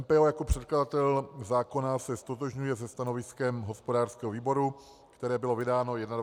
MPO jako předkladatel zákona se ztotožňuje se stanoviskem hospodářského výboru, které bylo vydáno 21. listopadu.